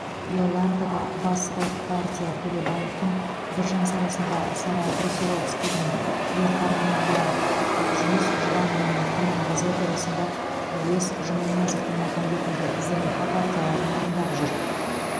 иолантада басты партия төлебаевтың біржан сарасында сара брусиловскийдің ер тарғынында ақжүніс жұбанованың құрманғазы операсында әуес жұманиязовтың махамбетінде зылиха партияларын орындап жүр